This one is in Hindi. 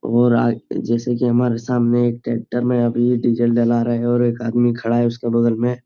और आ जैसे कि हमारे सामने एक ट्रैक्टर में आदमी अभी डीजल डला रहे है। और एक आदमी खड़ा है उसके बगल में।